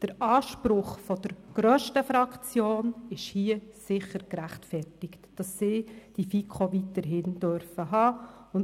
Der Anspruch der grössten Fraktion ist hier sicher gerechtfertigt, sodass Sie die FiKo weiterhin haben dürfen.